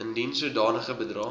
indien sodanige bedrae